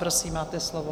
Prosím, máte slovo.